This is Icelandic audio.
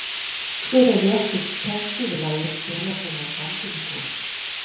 Hver er réttur texti við lagið Jólasveinar ganga um gólf?